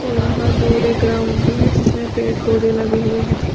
और वहां दूर एक ग्राउंड भी है जिसमें पेड़ पौधे लगे हुए है।